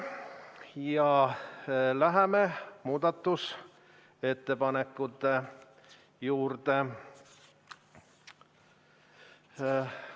Läheme muudatusettepanekute juurde.